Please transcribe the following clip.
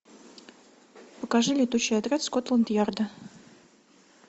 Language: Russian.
покажи летучий отряд скотланд ярда